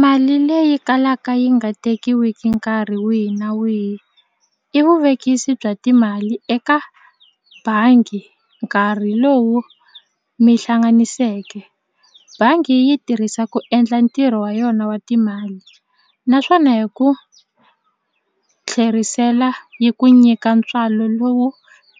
Mali leyi kalaka yi nga tekiwiki nkarhi wihi na wihi i vuvekisi bya timali eka bangi nkarhi lowu mi hlanganiseke bangi yi yi tirhisa ku endla ntirho wa yona wa timali naswona hi ku tlherisela yi ku nyika ntswalo lowu